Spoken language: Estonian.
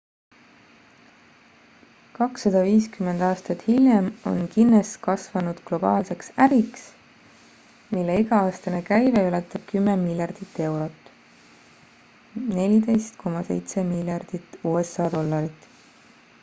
250 aastat hiljem on guinness kasvanud globaalseks äriks mille iga-aastane käive ületab 10 miljardit eurot 14,7 miljardit usa dollarit